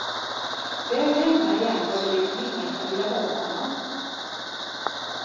Väl hemma igen var det liksom ingen som ville ha honom.